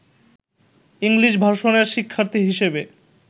English ভার্সনের শিক্ষার্থী হিসেবে